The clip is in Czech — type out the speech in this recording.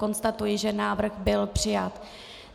Konstatuji, že návrh byl přijat.